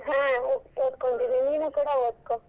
ಹಾ ಓದ್ಕೊಂತೀನಿ ನೀನೂ ಕೂಡಾ ಓದ್ಕೋ.